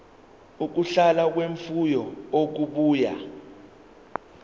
ukudla kwemfuyo okubuya